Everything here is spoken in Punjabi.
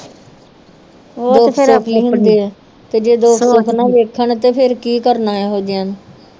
ਵੇਖਣ ਤੇ ਫੇਰ ਕਿ ਕਰਨਾ ਏਹੋ ਜੇਆ ਨੂੰ